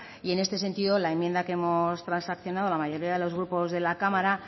y en este sentido la enmienda que hemos transaccionado la mayoría de los grupos de la cámara